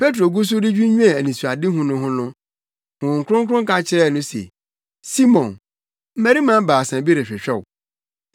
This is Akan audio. Petro gu so redwinnwen anisoadehu no ho no, Honhom Kronkron ka kyerɛɛ no se, “Simon, mmarima baasa bi rehwehwɛ wo.